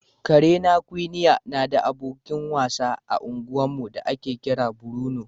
Karena Quinnie na da abokin wasa a unguwarmu da ake kira Bruno.